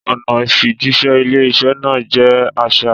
Ọ̀nà ìfijíṣẹ́ ilé-iṣẹ́ náà jẹ́ archaic.